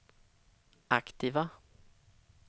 aktiva